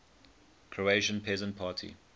croatian peasant party